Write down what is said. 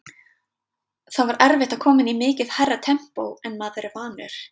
Það var erfitt að koma inn í mikið hærra tempó en maður er vanur.